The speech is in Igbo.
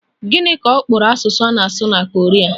Gịnị ka ọ kpọrọ asụsụ a na-asụ na Koria?